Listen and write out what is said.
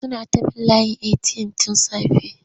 Suna ta bin layin eti'yam tun safe.